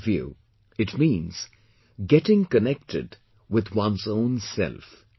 In my view, it means getting connected with one's own self